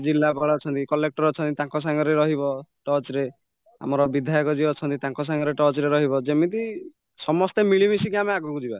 ଜିଲ୍ଲାପାଳ ଅଛନ୍ତି collector ଅଛନ୍ତି ତାଙ୍କ ସାଙ୍ଗରେ ରହିବ touch ରେ ଆମର ବିଧ୍ୟାୟକ ଯିଏ ଅଛନ୍ତି ତାଙ୍କ ସାଙ୍ଗରେ touchରେ ରହିବ ଯେମିତି ସମସ୍ତେ ଆମେ ମିଳି ମିଶିକି ଆମେ ଆଗକୁଯିବା